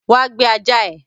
Wá gbé ajá ẹ!